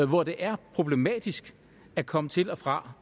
hvor det er problematisk at komme til og fra